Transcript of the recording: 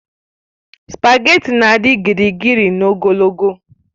Spageti na-adị gịrịgịrị na ogologo